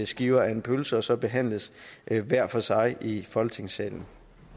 skiver af en pølse og så behandles hver for sig i folketingssalen